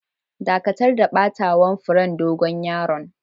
Dakatar da batawa'n furen dogon yaron!